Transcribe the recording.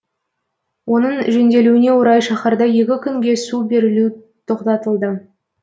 оның жөнделуіне орай шаһарда екі күнге су берілу тоқтатылды